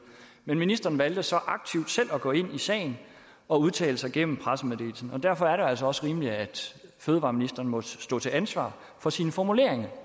men ministeren valgte så selv at gå aktivt ind i sagen og udtale sig gennem pressemeddelelsen derfor er det jo altså også rimeligt at fødevareministeren må stå til ansvar for sine formuleringer